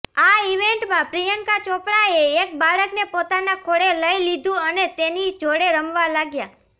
આ ઇવેંટમાં પ્રિયંકા ચોપરાએ એક બાળકને પોતાના ખોળે લઈ લીધું અને તેની જોડે રમવા લાગ્યાં